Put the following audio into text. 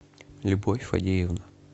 любовь фадеевна